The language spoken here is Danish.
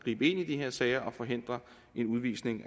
i de her sager og forhindre en udvisning